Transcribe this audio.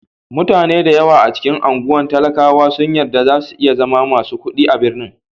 Mutane da yawa a cikin anguwan talakawa sun yi yarda za su iya zama masu kuɗi a birnin.